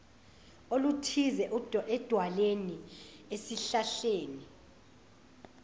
oluthize edwaleni esihlahleni